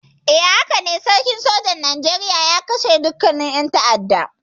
Hakane, jirgin sojan Nigeria ya kashe dukkannin ƴan ta'addan.